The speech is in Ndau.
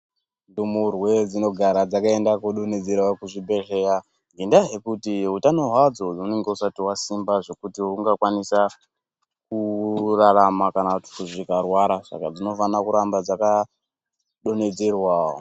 Ndumurwe dzinogara dzakaenda kunodonedzerwa kuzvibehleya ngendaa yekuti utano hwavo hune husati hwasimba zvekuti dzingakwanise kurarama, saka dzinofanirwa kuramba dzakaenda kodonhedzerwa.